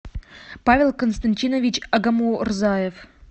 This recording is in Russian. павел константинович агамурзаев